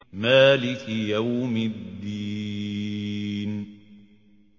مَالِكِ يَوْمِ الدِّينِ